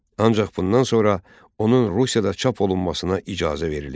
Ancaq bundan sonra onun Rusiyada çap olunmasına icazə verilir.